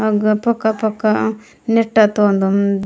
अग फक फक नेटा तवन्दवन --